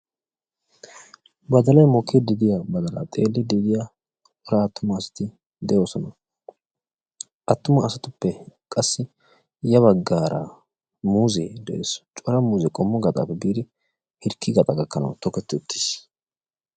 Badalay mokkidi de'iya badala xeelide diya cora attumasati doosona. Attuma asatuppe qassi ya baggaara muuze de'ees. Cora muuze qommo gaxappe biidi hirkki gaxaa gakkanaw tokketi uttiis.